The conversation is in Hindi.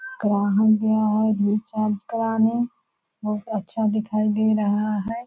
ग्राहक गया है रिचार्ज कराने बहुत अच्छा दिखाई दे रहा है।